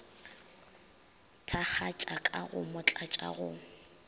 thakgatša ka go motlatša go